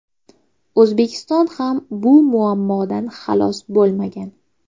O‘zbekiston ham bu muammodan xalos bo‘lmagan.